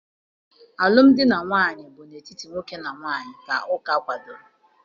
Alụmdi na nwunye bụ n'etiti nwoke na nwaanyị ka ụka kwadoro.